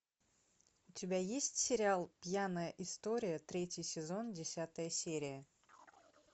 у тебя есть сериал пьяная история третий сезон десятая серия